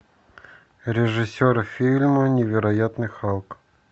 режиссер фильма невероятный халк